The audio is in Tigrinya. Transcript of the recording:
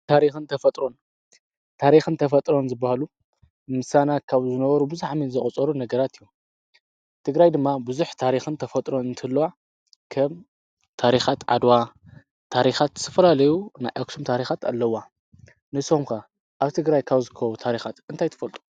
ታሪኽን ተፈጥሮን ታሪኽን ተፈጥሮን ዝበሃሉ ምሳና ካብ ዝነበሩ ብዙኃሜን ዘቐጸሩ ነገራት እዩ ቲግራይ ድማ ብዙኅ ታሪኽን ተፈጥሮን እንትልዋ ከም ታሪኻት ዓድዋ ታሪኻት ስፍራ ለዩ ና ኤክስም ታሪኻት ኣለዋ ንስምካ ኣብ ቲግራይ ካውዝኮ ታሪኻት እንታይትፈልጡ።